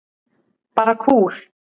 Bara kúl.